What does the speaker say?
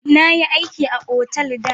Na yi aiki a otal da.